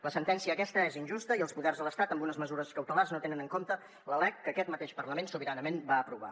la sentència aquesta és injusta i els poders de l’estat amb unes mesures cautelars no tenen en compte la lec que aquest mateix parlament sobiranament va aprovar